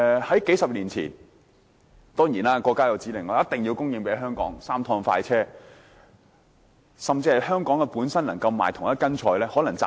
數十年前，當然，國家有指令，一定要供應鮮活商品給香港，有"三趟快車"政策。